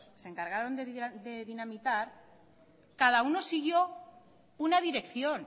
se encargaron de dinamitar cada uno siguió una dirección